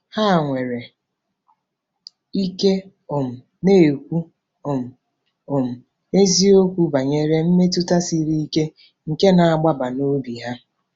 Ha nwere ike um na-ekwu um um eziokwu banyere mmetụta siri ike nke na-agbaba n'obi ha.